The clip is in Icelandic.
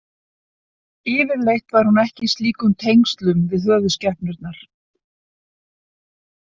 Yfirleitt var hún ekki í slíkum tengslum við höfuðskepnurnar.